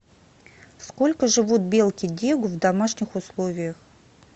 сколько живут белки дегу в домашних условиях